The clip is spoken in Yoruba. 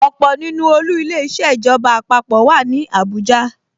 Ọ̀pọ̀ nínú olú Ilé-iṣẹ́ ìjọba àpapọ̀ wà ní Abuja